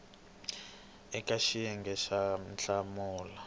eka xiyenge xa b hlamula